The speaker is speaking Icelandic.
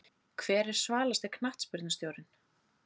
Hver er svalasti knattspyrnustjórinn?